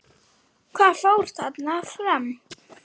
Hvað fór þarna fram?